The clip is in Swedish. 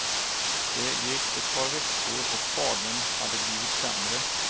Det gick ett par veckor och fadern hade blivit sämre.